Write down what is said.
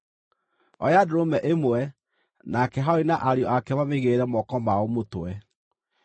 “Oya ndũrũme ĩmwe nake Harũni na ariũ ake mamĩigĩrĩre moko mao mũtwe igũrũ wayo.